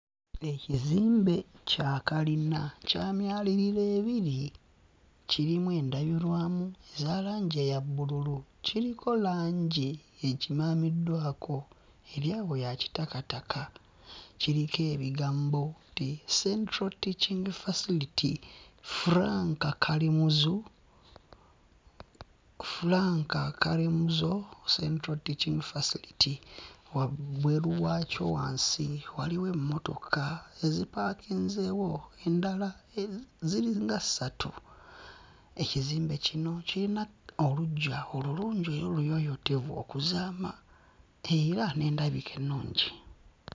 Ekizimbe kya kalina, kya myaliriro ebiri, kirimu endabirwamu eza langi eya bbululu, kiriko langi ekimaamiddwako, eri awo ya kitakataka. Kiriko ebigambo nti Central Teaching Facility, Frank Kalimuzo, Frank Kalimuzo Central Teaching Facility. Wabweru waakyo wansi waliwo emmotoka ezipaakinzeewo, endala ziringa ssatu. Ekizimbe kino kiyina oluggya olulungi era oluyooyootevu okuzaama era n'endabika ennungi.